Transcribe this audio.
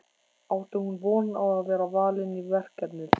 Átti hún von á að vera valin í verkefnið?